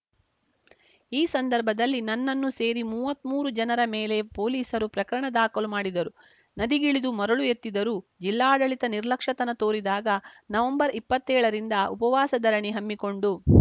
ಈ ಸಂದರ್ಭದಲ್ಲಿ ನನ್ನನ್ನು ಸೇರಿ ಮೂವತ್ಮೂರು ಜನರ ಮೇಲೆ ಪೊಲೀಸರು ಪ್ರಕರಣ ದಾಖಲು ಮಾಡಿದರು ನದಿಗಿಳಿದು ಮರಳು ಎತ್ತಿದರೂ ಜಿಲ್ಲಾಡಳಿತ ನಿರ್ಲಕ್ಷ್ಯತನ ತೋರಿದಾಗ ನವಂಬರ್ ಇಪ್ಪತ್ತೇಳರಿಂದ ಉಪವಾಸ ಧರಣಿ ಹಮ್ಮಿಕೊಂಡು